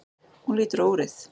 Hún lítur á úrið.